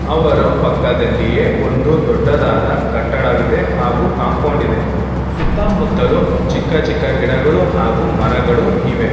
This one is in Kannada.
ಅವರು ಪಕ್ಕದಲ್ಲಿಯೇ ಒಂದು ದೊಡ್ಡದಾದ ಕಟ್ಟಡವಿದೆ ಹಾಗೂ ಕಾಂಪೌಂಡ್ ಇದೆ ಸುತ್ತಮುತ್ತಲು ಚಿಕ್ಕ ಚಿಕ್ಕ ಗಿಡಗಳು ಹಾಗೂ ಮರಗಳು ಇವೆ.